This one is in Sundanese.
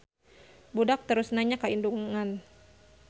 Budak terus nanya ka indungan.